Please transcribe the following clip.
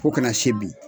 Fo kana se bi